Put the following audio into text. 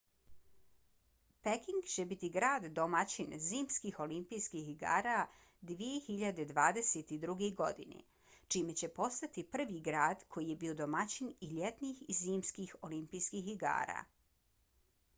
peking će biti grad domaćin zimskih olimpijskih igara 2022. godine čime će postati prvi grad koji je bio domaćin i ljetnih i zimskih olimpijskih igara